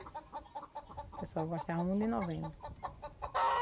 O pessoal gostava muito de novena.